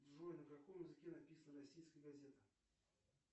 джой на каком языке написана российская газета